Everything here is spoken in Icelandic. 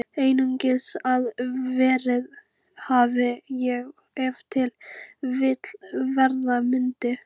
Einungis að verið hafi og ef til vill verða mundi.